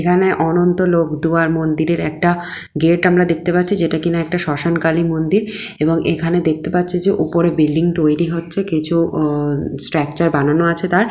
এখানে অনন্ত লোক দুয়ার মন্দিরের একটা গেট আমরা দেখতে পাচ্ছি যেটা কিনা একটা শ্মশান কালী মন্দির এবং এখানে দেখতে পাচ্ছি যে উপরে বিল্ডিং তৈরি হচ্ছে কিছু-ও-ও স্ট্রাকচার বানানো আছে তার।